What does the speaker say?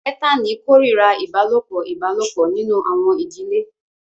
Ethani kórìíra ìbálòpọ̀ ìbálòpọ̀ nínú àwọn ìdílé